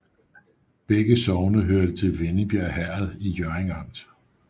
Begge sogne hørte til Vennebjerg Herred i Hjørring Amt